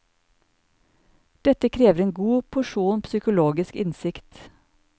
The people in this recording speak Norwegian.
Dette krever en god porsjon psykologisk innsikt.